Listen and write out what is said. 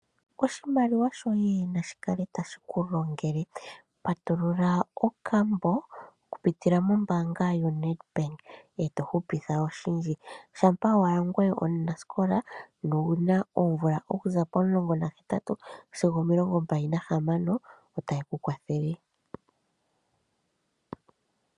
Oshimaliwa shoye nashi kale ta shikulongele. Patulula okambo okupitila mombaanga yo Nedbank eto hupitha oshindji shampa wuli omunasikola ndele na owuna oomvula okuza pomulongo gahetatu sigo omilongombali nahamano etayeku kwathele